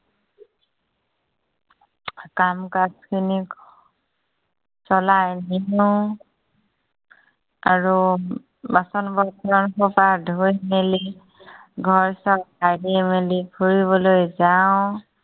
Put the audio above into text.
কাম-কাজখিনি চলাই নিও। আৰু বাচন বৰ্তন সোপা ধুই মেলি, ঘৰ চৰ সাৰি মেলি ফুৰিবলৈ যাও।